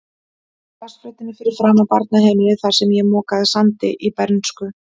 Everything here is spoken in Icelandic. Á grasflötinni fyrir framan barnaheimilið, þar sem ég mokaði sandi í bernsku.